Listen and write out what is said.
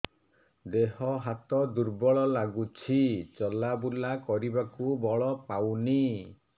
ଦେହ ହାତ ଦୁର୍ବଳ ଲାଗୁଛି ଚଲାବୁଲା କରିବାକୁ ବଳ ପାଉନି